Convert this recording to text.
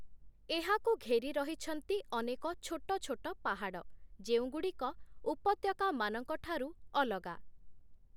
ଏହାକୁ ଘେରି ରହିଛନ୍ତି ଅନେକ ଛୋଟଛୋଟ ପାହାଡ଼, ଯେଉଁଗୁଡ଼ିକ ଉପତ୍ୟକାମାନଙ୍କ ଠାରୁ ଅଲଗା ।